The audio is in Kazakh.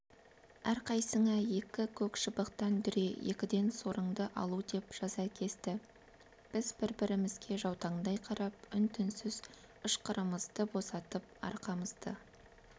әрқайсыңа екі көк шыбықтан дүре екіден сорыңды алу деп жаза кесті біз бір-бірімізге жаутаңдай қарап үн-түнсіз ышқырымызды босатып арқамызды